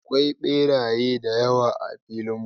Akwai beraye da yawa a filin mu.